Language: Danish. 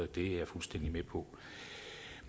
det er jeg fuldstændig med på